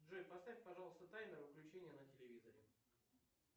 джой поставь пожалуйста таймер выключения на телевизоре